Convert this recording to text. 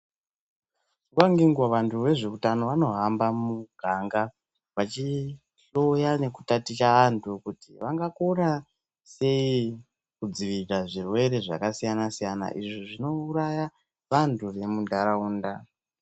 Nguwa ngenguwa vantu vezveutano vanohamba mumuganga vachi hloya nekutaticha vantu kuti vangakona sei kudzirira zvirwere zvakasiyana siyana izvi zvinouraya vantu nemunharaunda.